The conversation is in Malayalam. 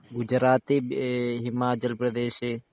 ഈ ഗുജറാത്ത് ഹിമാചൽ പ്രദേശ്